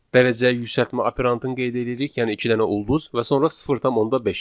dərəcəyə yüksəltmə operantını qeyd eləyirik, yəni iki dənə ulduz və sonra 0.5.